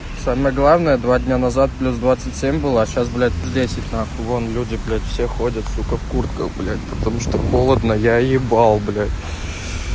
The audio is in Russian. самое главное два дня назад плюс двадцать семь была а сейчас блядь десять нахуй вон люди блядь все ходят в куртках блядь потому что холодно я ебал блядь